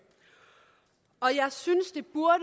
og jeg synes det burde